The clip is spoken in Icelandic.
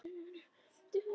Elsku, bróðir.